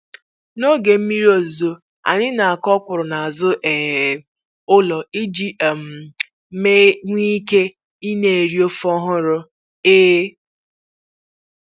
Na-oge mmiri ozuzo anyị na-akụ ọkwụrụ n'azụ um ụlọ iji um nwee ike ị na eri ofe ọhụrụ. um